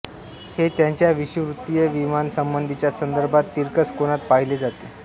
हे त्याच्या विषुववृत्तीय विमानासंबधीच्या संदर्भात तिरकस कोनात पाहिले जाते